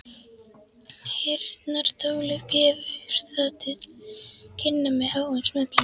Heyrnartólið gefur það til kynna með háum smelli.